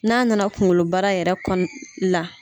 N'a nana kunkolo bara yɛrɛ kɔnɔ la